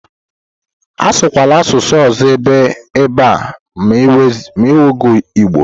Asụkwala asụsụ ọzọ ebe a ma ewezuga Igbo.